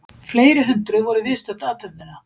Fleiri hundruð voru viðstödd athöfnina